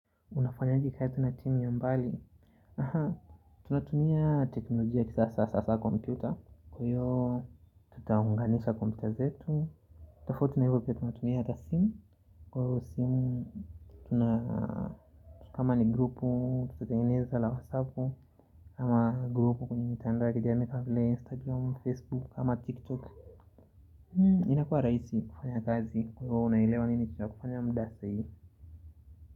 Unafanyaje kikazi na timi ya mbali? Aha, tunatumia teknolojia ya kisasa hasa hasa kompyuta hiyo tutaunganisha kompyuta zetu tofauti na hivyo pia tunatumia hata simu Kwa hiyo simu, tuna kama ni grupu tutatengeneza la whatsappu hama grupu kwenye mitandao ya kijamii kama vile instagram, facebook ama tiktok inakuwa rahisi kufanya kazi kwa hiyo unaelewa nini tunakifanya muda sahii.